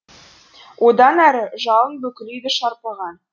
одан әрі жалын бүкіл үйді шарпыған